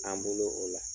An bolo o la